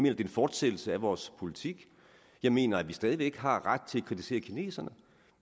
er en fortsættelse af vores politik jeg mener at vi stadig væk har ret til at kritisere kineserne